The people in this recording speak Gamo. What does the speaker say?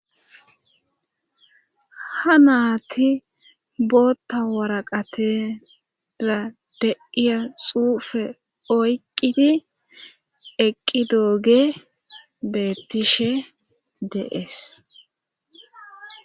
ha naati bootta waraqatera deiya xuufe oyqqidi eqqi dooge beettishe deees